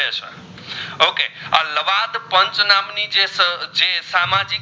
પાંચ નામ ની જે જ જે સામાજિક